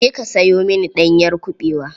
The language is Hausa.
Je ka sayo mini ɗanyar kuɓewa.